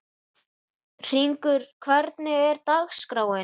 Hringur, hvernig er dagskráin?